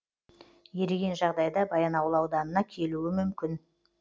еріген жағдайда баянауыл ауданына келуі мүмкін